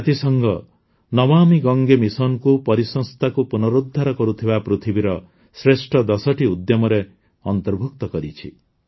ଜାତିସଂଘ ନମାମି ଗଙ୍ଗେ ମିଶନକୁ ପରିସଂସ୍ଥାକୁ ପୁନରୁଦ୍ଧାର କରୁଥିବା ପୃଥିବୀର ଶ୍ରେଷ୍ଠ ଦଶଟି ଉଦ୍ୟମରେ ଅନ୍ତର୍ଭୁକ୍ତ କରିଛି